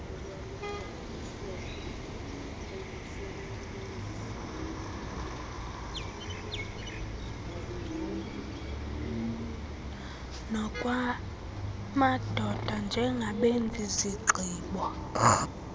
nokwamadoda njengabenzi zigqibp